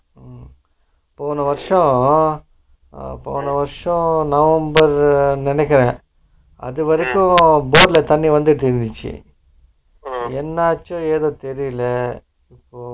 உம் போன வருஷம் அஹ போன வருஷம் november நினைக்குறே அதுவரைக்கும் bore ல தண்ணி வந்துட்டு இருன்ச்சு silent என்னாச்சோ ஏதாச்சோ தெரியல இப்போ